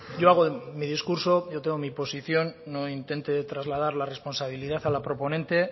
yo hago mi discurso yo tengo mi posición no intente trasladar la responsabilidad a la proponente